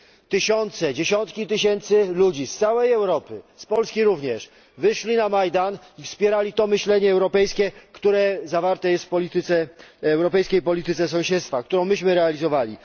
Tysiące, dziesiątki tysięcy ludzi z całej Europy, z Polski również, wyszli na Majdan i wspierali to myślenie europejskie, które zawarte jest w europejskiej polityce sąsiedztwa, którą myśmy realizowali.